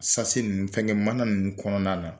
Sase ninnu fɛŋɛ, mana ninnu kɔnɔna na